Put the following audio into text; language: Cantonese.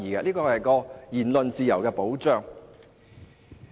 這是對言論自由的保障。